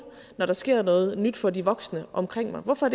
når der sker noget nyt for de voksne omkring mig hvorfor